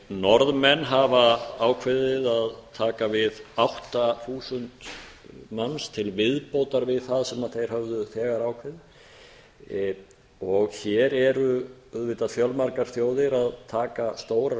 norðmenn hafa ákveðið að taka við átta þúsund manns til viðbótar við það sem þeir höfðu þegar ákveðið og hér eru auðvitað fjölmargar þjóðir að taka stórar